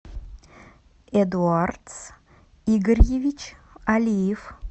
эдуард игоревич алиев